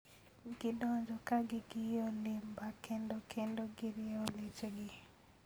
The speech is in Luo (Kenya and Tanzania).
Gidonjo ka gi giyo limba kendo kendo girieyo leche gi.